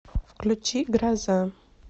включи гроза